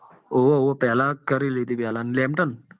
હોવે હોવે પેલા કરેલી હતી lambton